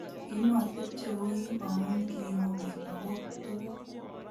komatepche ko kiim amu kiimu biik ago tuguk